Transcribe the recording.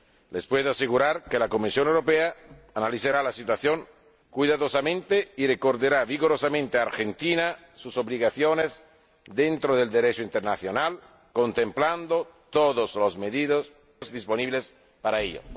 Les puedo asegurar que la Comisión Europea analizará la situación cuidadosamente y recordará vigorosamente a Argentina sus obligaciones dentro del Derecho internacional, contemplando todos los medios disponibles para ello.